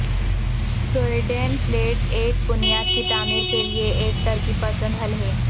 سویڈین plate ایک بنیاد کی تعمیر کے لئے ایک ترقی پسند حل ہے